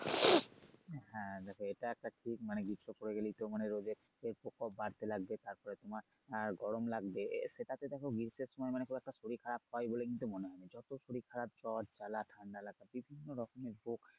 হ্যা দেখো এটা একটা ঠিক মানে গ্রীষ্ম পরে গেলেই তো মানে রোদের প্রকোপ বারতে লাগবে তারপরে তোমার আহ গরম লাগবে এ সেটাতে দেখো গ্রীষ্মের সময় মানে খুব একটা শরীর খারাপ হয় বলে কিন্তু মনে হয় যত শরীর খারাপ সব জ্বর জালা খেলা ঠান্ডা লাগা বিভিন্নরকমের রোগ।